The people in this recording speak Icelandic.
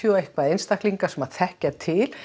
og eitthvað einstaklinga sem þekkja til